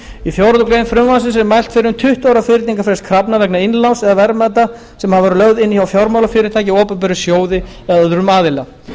í fjórða grein frumvarpsins er mælt fyrir um tuttugu ára fyrningarfrest krafna vegna innláns eða verðmæta sem hafa verið lögð inn hjá fjármálafyrirtæki opinberum sjóði eða öðrum aðila